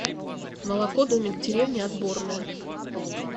молоко домик в деревне отборное